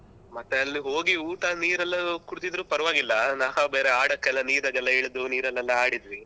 ಮತ್ತೆ ಅಲ್ಲಿ ಹೋಗಿ ಊಟ ನೀರೆಲ್ಲ ಕುಡಿದಿದ್ರು ಪರವಾಗಿಲ್ಲ ನಾವು ಬೇರೆ ಆಡಕ್ಕೆಲ್ಲ ನೀರಲ್ಲೆಲ್ಲ ಇಳ್ದು ನೀರಲ್ಲೆಲ್ಲ ಆಡಿದ್ವಿ.